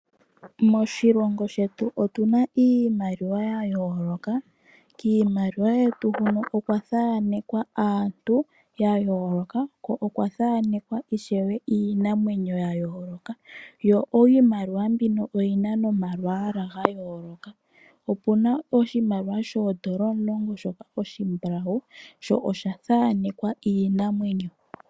Moshilongo shetu otu na iimaliwa yayoloka kiimaliwa yetu huno okwa thaanekwa aantu yayooloka ko okwa thanekwa ishewe iinamwenyo yayoloka. Iimaliwa mbino oyi na nomalwaala ga yoloka, opu na oshimaliwa shoodola omulongo shoka oshimbulawu sho osha thanekwa iinamwenyo.